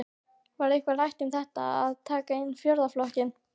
Var eitthvað rætt um það að taka inn fjórða flokkinn?